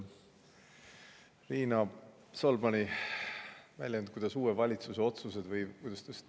Riina Solmani väljend, et uue valitsuse otsused – või kuidas ta ütles?